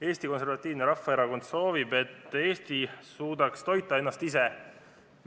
Eesti Konservatiivne Rahvaerakond soovib, et Eesti suudaks ennast ise toita.